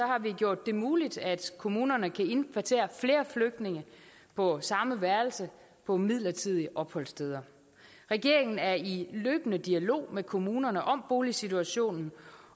har vi gjort det muligt at kommunerne kan indkvartere flere flygtninge på samme værelse på midlertidige opholdssteder regeringen er i løbende dialog med kommunerne om boligsituationen